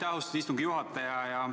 Aitäh, austatud istungi juhataja!